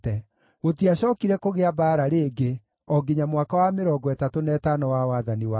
Gũtiacookire kũgĩa mbaara rĩngĩ, o nginya mwaka wa mĩrongo ĩtatũ na ĩtano wa wathani wa Asa.